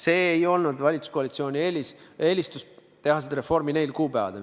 See ei olnud valitsuskoalitsiooni eelistus teha see reform nendel kuupäevadel.